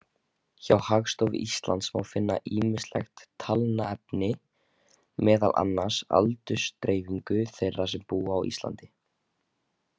Hjá Hagstofu Íslands má finna ýmislegt talnaefni, meðal annars aldursdreifingu þeirra sem búa á Íslandi.